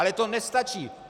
Ale to nestačí.